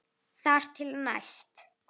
Þar til næst.